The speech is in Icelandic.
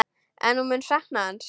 En hún mun sakna hans.